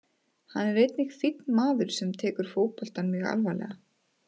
Hann er einnig fínn maður sem tekur fótboltann mjög alvarlega.